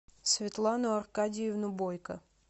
светлану аркадьевну бойко